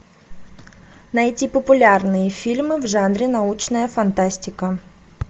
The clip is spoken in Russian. найти популярные фильмы в жанре научная фантастика